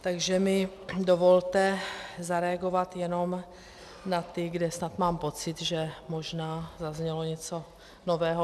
Takže mi dovolte zareagovat jenom na ty, kde snad mám pocit, že možná zaznělo něco nového.